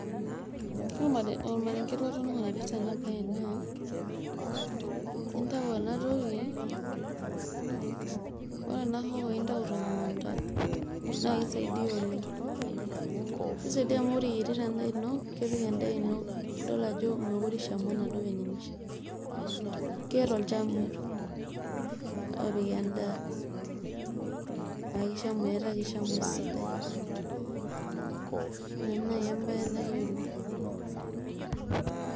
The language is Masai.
Ore ormarenge latoning'o laipirta ena baye naa intayu enatoki ore ena hoho intayu temukunta naa keisaidia oleng keisaidia amu ore iyierita endaa ino kepik endaa ino ildol ajo mekure eishamu enadoo venye naishia keeta olchamei opik endaa metaa keishamu esidai ina naai embaye nayiolo.